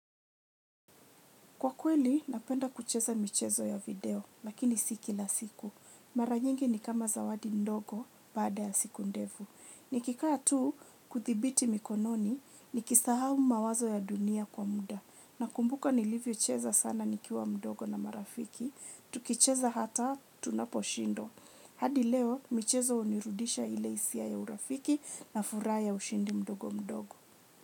Kwa kweli, napenda kucheza michezo ya video, lakini siki la siku. Mara nyingi ni kama zawadi ndogo bada ya siku ndevu. Nikika tu kuthibiti mikononi, nikisahau mawazo ya dunia kwa muda. Na kumbuka nilivyo cheza sana nikiwa ndogo na marafiki, tukicheza hata tunapo shindwa. Hadi leo, michezo unirudisha ile isia ya urafiki na fura ya ushindi ndogo ndogo.